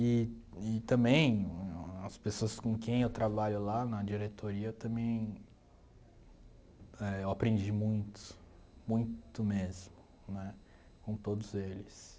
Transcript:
E e também as pessoas com quem eu trabalho lá na diretoria também eh... Eu aprendi muito, muito mesmo, né, com todos eles.